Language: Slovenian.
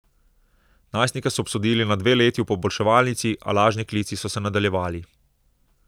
Najstnika so obsodili na dve leti v poboljševalnici, a lažni klici so se nadaljevali.